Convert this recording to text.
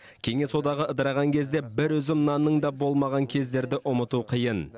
кеңес одағы ыдыраған кезде бір үзім нанның да болмаған кездерді ұмыту қиын